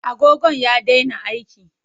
Agogon ya daina aiki.